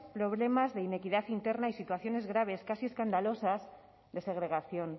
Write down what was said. problemas de inequidad interna y situaciones graves casi escandalosas de segregación